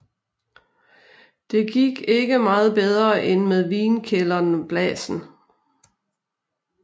Det gik ikke meget bedre end med vinkælderen Blasen